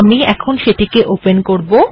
আমি সেটিকে এখন ওপেন করব